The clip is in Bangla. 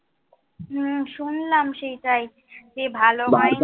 হম শুনলাম সেইটাই। যে ভালো ভাই,